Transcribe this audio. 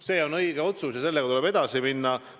See on õige otsus ja selle tööga tuleb edasi minna.